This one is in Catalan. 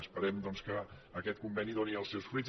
esperem doncs que aquest conveni doni els seus fruits